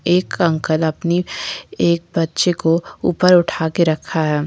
एक अंकल अपनी एक बच्चे को ऊपर उठा के रखा है।